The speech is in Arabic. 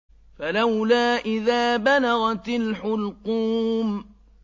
فَلَوْلَا إِذَا بَلَغَتِ الْحُلْقُومَ